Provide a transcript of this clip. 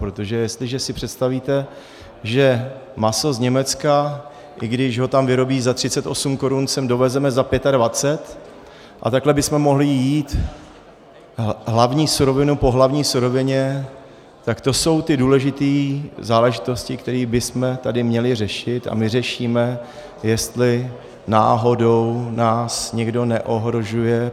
Protože jestliže si představíte, že maso z Německa, i když ho tam vyrobí za 38 korun, sem dovezeme za 25, a takhle bychom mohli jít hlavní surovinu po hlavní surovině, tak to jsou ty důležité záležitosti, které bychom tady měli řešit, a my řešíme, jestli náhodou nás někdo neohrožuje.